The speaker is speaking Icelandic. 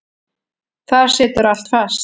Þar situr allt fast.